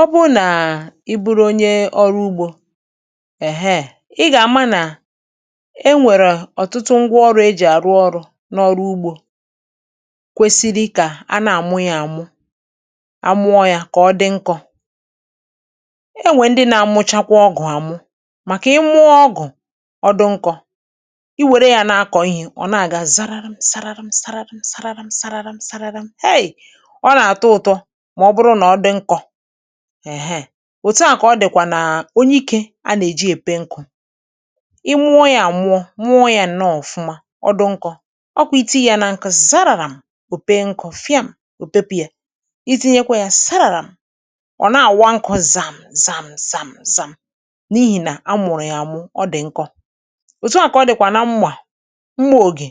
Ọ́ bụ̀ nà ị́ bụ̀rụ̀ ònyèè ọ̀rụ̀ ùgbò, um ị gà-ámà nà è nwèrè ọ̀tụ̀tụ̀ ngwà ọrụ̇ è jì àrụ̀ òrụ̀ n’ọ̀rụ̀ ùgbò kwèsìrì kà à nà-àmụ̀ yà àmụ̀, àmụ̀ọ̀ yà kà ọ̀ dị́ nkọ̀. È nwè ndị̀ nà-àmụ̀chàkwà ọ́gụ̀ àmụ̀ màkà ị̀ mụ̀ọ̀ ọ̀gụ̀ ọ̀dụ̀ nkọ̀, ị́ wèrè yà nà-akọ̀ ị́hè ọ̀ nà-àgà zàràràm zàràràm zàràràm zàràràm zàràràm zàràràm héè! Ọ̀nà àtọ̀ ụ̀tọ̀ màọ̀ bụ̀rụ̀ nà ọ̀ dị̀ nkọ̀ um Òtù à kà ọ̀ dị̀kwà nàà ònyè ìkè ànà-èjì èpé nkụ̀, ị́ mụ̀ọ̀ yà àmụ̀ọ̀ mụ̀ọ̀ yà ǹnọ̀ọ̀ ọ̀fụ̀mà ọ̀dụ̀ nkọ̀, ọ̀kwà ìtì yà nà nkụ̀ zààràràm òpé nkụ̀ fị̀àm ò pépù yà. Ìtìnyèkwà yà sàrààràm ọ̀ nà-àwà nkụ̀ zàm zàm zàm zàm n’ìhì nà à mụ̀rụ̀ yȧ àmụ̀ ọ̀ dị̀ nkọ̀. Òtù a kà ọ̀ dị̀kwà nà mmà mmà ògé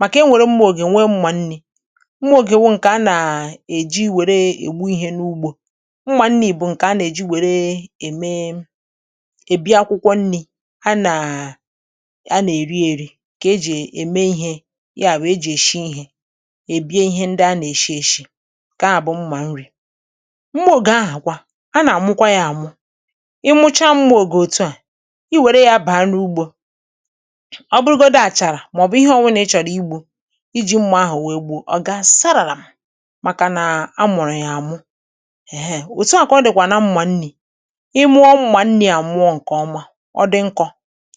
màkà è nwèrè mmà ògé nwèè mmà nnì, mma ògè wụ̀ ǹkè à nà-èjì wèrè ègbù ị̀hè n’ùgbò mmà nnì bụ̀ ǹkè à nà-èjì wèrè èmèè èbìì àkwụ̀kwọ̀ nnì à nà à nà-èrì èrì kà èjì èmè ị̀hè yàwụ̀ èjì èshì ị̀hè èbìè ị̀hè ndị́a nà-èshì èshì nkèà bụ̀ mmà nrì. Mmò ògè àhàkwá à nà-àmụ̀kwà yà àmụ̀, ị̀mùchá mmà ògè òtù à í wèrè yà bàà n’ùgbò, ọ̀ bụ̀rụ̀gòdi àchàrà màọ̀bụ̀ íhè ọ̀ nwụ̀nà ị́ chọ̀rọ̀ ìgbù ìjì mmà àhụ̀ wèè gbụ̀ ọ̀ gà sáràràm màkà nà àmụ̀rụ̀ yàà àmụ̀[um]. Òtù à kà ọ̀dìkwà nà mmà nnì, ị́ mụ̀ọ̀ mmà nnì àmụ̀ọ̀ nkè ọ̀mà, ọ̀dị̀ nkọ̀,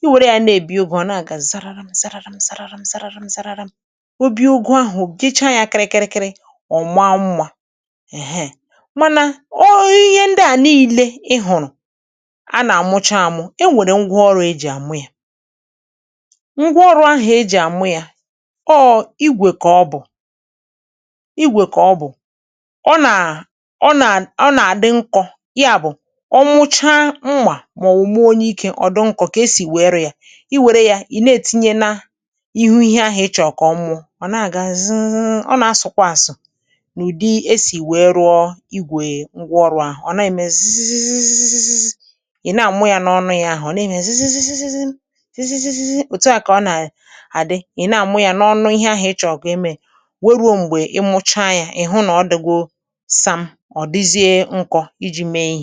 ị̀ nwèrè yà n’ebì ụ̀gụ̀ ọ̀ nà-àgà zararam zararam zararam zararam zararam, òbìè úgụ̀ àhụ̀ òbìèchà yà kị́rị́kị́rị́ kị́rị́kị́rị́ ọ̀ màà mmá um Mànà ọ̀ ị̀hè ndị̀ à nììlè ị́ hụ̀rụ̀ ànà-àmụ̀chà àmụ̀, è nwèrè ngwà ọ̀rụ̀ èjì àmụ̀ yà ngwà ọ̀rụ̀ àhụ̀ èjì àmụ̀ yà ọ̀ ígwè kàọ̀bụ̀ ígwè kàọ̀bụ̀, ọ̀nà ọ̀nà ọ̀nà àdị́ nkọ̀ yàbụ̀ ọ̀ mụ̀chá mmà màọ̀ mọ̀wụ̀ ònyè ìkè, ọ̀dụ̀ nkọ̀ kà èsì wèè rụ̀ yà, ị́ nwèrè yà ị́nà ètìnyè nà ìhù ị̀hè à ị́ chọ̀ọ̀ kà ọ̀ mụ̀ọ̀ ọ̀ nà-àgà zị́ị́zị́ị́, ọ̀ nà_àsụ̀kwà àsụ̀ n’ụ̀dị́ èsì wèè rụ̀ọ̀ ígwèè ngwà ọ̀rụ̀ àhụ̀, ọ̀ nà-èmè zị́zị́ị́zị́ị́ị́, ị́nà-àmụ̀à n’ọ̀nụ̀ yà àhụ̀ ọ̀nà-èmè zị́zị́ị́zị́ị́ị́ zị́ị́ị́ị́, òtùà kà ọ̀nà-àdị́ ị́nà àmụ̀ yà n’ọ̀nụ̀ ị̀hè àhụ́ ị́ chọ̀ọ̀ kà èmè wèè rùò mgbè ị́mụ̀chá yà ị́hụ̀ nà ọ̀dị́gò sààm ọ̀dị́zị́è nkọ̀ ìjì mèè ìhè.